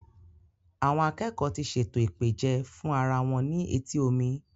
Àwọn akẹ́kọ́ọ̀ ti ṣètò ìpèjẹ fún ara wọn ní etí omi.